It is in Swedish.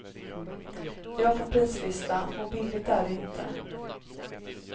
Jag får prislistan, och billigt är det inte.